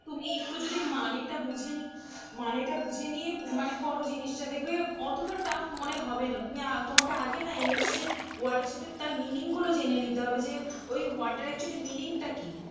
তুমি একটু যদি মানে টা বুঝে নি, মানেটা বুঝে নিয়ে মানে কর জিনিসটা দেখবে অতটা tough মনে হবে না. তুমি আ, তোমাকে আগে না English এ word এর সাথে তার meaning গুলো জেনে নিতে হবে যে ওই word টার actually meaning টা কী.